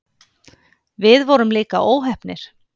Við vorum líka óheppnir